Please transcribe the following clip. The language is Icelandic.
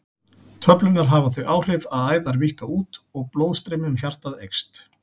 Töflurnar hafa þau áhrif að æðar víkka út og blóðstreymi um hjartað eykst.